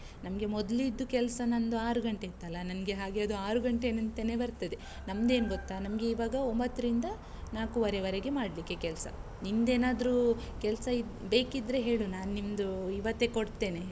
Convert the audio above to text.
ನಮ್ಗೆ ಮೊದ್ಲಿದ್ದು ಕೆಲಸ ನಂದು ಆರು ಗಂಟೆ ಇತ್ತಲ್ಲ, ನಂಗೆ ಹಾಗೆ ಅದು ಆರು ಗಂಟೆ ಅಂತಾನೇ ಬರ್ತದೆ, ನಮ್ದೇನ್ ಗೊತ್ತಾ? ನಮ್ಗೆ ಈವಾಗ ಒಂಬತ್ರಿಂದ ನಾಕೂವರೆವರೆಗೆ ಮಾಡ್ಲಿಕ್ಕೆ ಕೆಲ್ಸ, ನಿಂದೇನಾದ್ರೂ ಕೆಲ್ಸ ಇದ್ ಬೇಕಿದ್ರೆ ಹೇಳು, ನಾನ್ ನಿಮ್ದು ಇವತ್ತೇ ಕೊಡ್ತೇನೆ.